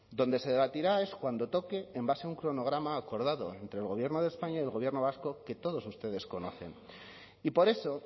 donde se debatirá es cuando toque en base a un cronograma acordado entre el gobierno de españa y del gobierno vasco que todos ustedes conocen y por eso